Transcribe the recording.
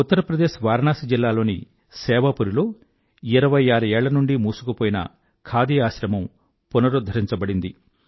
ఉత్తర్ ప్రదేశ్ వారణాసి జిల్లాలోని సేవాపురి లో 26 ఏళ్ల నుండీ మూసుకుపోయిన ఖాదీ ఆశ్రమం పునరుధ్ధరించబడింది